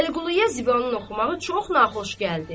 Vəliquluya Zibanın oxumağı çox naxoş gəldi.